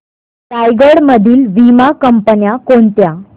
रायगड मधील वीमा कंपन्या कोणत्या